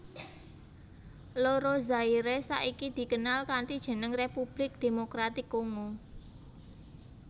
Loro Zaire saiki dikenal kanthi jeneng Republik Demokratik Kongo